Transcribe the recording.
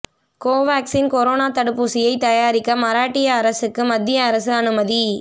Covaxin corona தடுப்பூசியை தயாரிக்க மராட்டிய அரசுக்கு மத்திய அரசு அனுமதி